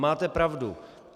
Máte pravdu.